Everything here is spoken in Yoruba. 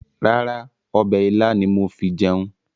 Rárá, ọbẹ̀ ilá ni mo fi jẹun.